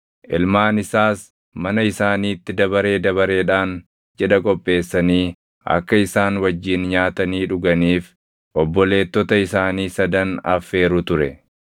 Ilmaan isaas mana isaaniitti dabaree dabareedhaan cidha qopheessanii akka isaan wajjin nyaatanii dhuganiif obboleettota isaanii sadan affeeru ture.